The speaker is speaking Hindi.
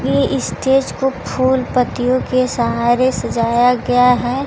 यह स्टेज को फूल पत्तियों के सहारे सजाया गया है।